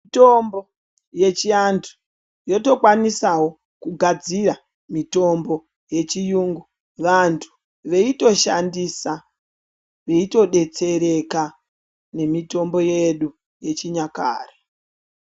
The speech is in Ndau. Mitombo yechiantu yotokwanisavo kugadzira mitombo yechiyungu. Vantu veitoshandisa veitobetsereka nemitombo yedu yechinyakare.